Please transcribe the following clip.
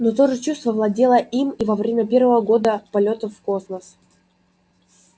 но то же чувство владело им и во время первого года полётов в космос